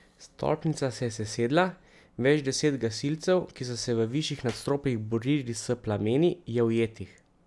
Stolpnica se je sesedla, več deset gasilcev, ki so se v višjih nadstropjih borili s plameni, je ujetih.